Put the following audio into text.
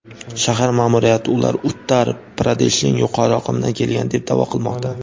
shahar ma’muriyati ular Uttar- Pradeshning yuqori oqimidan kelgan deb da’vo qilmoqda.